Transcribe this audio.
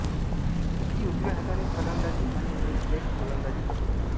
ती उजव्या हाताने फलंदाजी आणि लेग ब्रेक गोलंदाजी करते